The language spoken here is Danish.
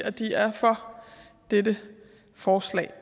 at de er for dette forslag